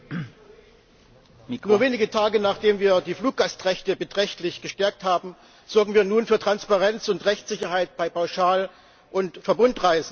Herr Präsident! Nur wenige Tage, nachdem wir die Fluggastrechte beträchtlich gestärkt haben, sorgen wir nun für Transparenz und Rechtssicherheit bei Pauschal und Verbundreisen.